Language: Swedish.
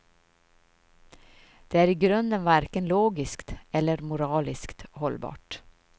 Det är i grunden varken logiskt eller moraliskt hållbart.